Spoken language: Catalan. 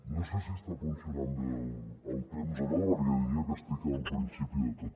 no sé si està funcionant bé el temps o no perquè diria que estic al principi de tot